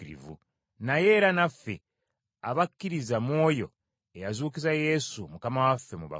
naye era naffe, abakkiririza mu oyo eyazuukiza Yesu Mukama waffe mu bafu.